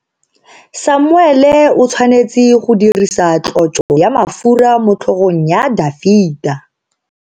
Samuele o tshwanetse go dirisa tlotso ya mafura motlhogong ya Dafita.